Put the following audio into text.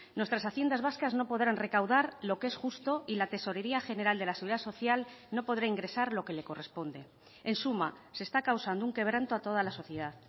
nuestras haciendas vascas no podrán recaudar lo que es justo y la tesorería general de la seguridad social no podrá ingresar lo que le corresponde en suma se está causando un quebranto a toda la sociedad